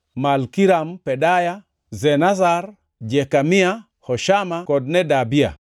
Malkiram Pedaya, Shenazar, Jekamia, Hoshama kod Nedabia.